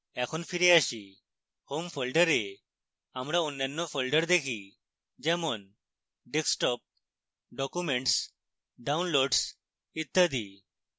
এখন ফিরে আসি